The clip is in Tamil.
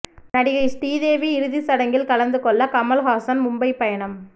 நடிகை ஸ்ரீதேவி இறுதிச் சடங்கில் கலந்து கொள்ள கமல்ஹாசன் மும்பை பயணம்